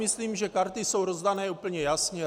Myslím, že karty jsou rozdány úplně jasně.